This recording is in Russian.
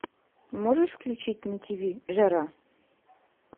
можешь включить на тв жара